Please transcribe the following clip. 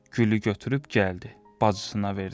Gülü götürüb gəldi, bacısına verdi.